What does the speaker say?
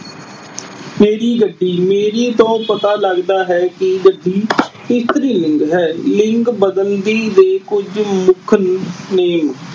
ਮੇਰੀ ਗੱਡੀ। ਮੇਰੀ ਤੋਂ ਪਤਾ ਲੱਗਦਾ ਹੈ ਕਿ ਗੱਡੀ ਇਸਤਰੀ ਲਿੰਗ ਹੈ। ਲਿੰਗ ਬਦਲੀ ਦੇ ਕੁਝ ਮੁੱਖ ਨਿ ਅਹ ਨਿਯਮ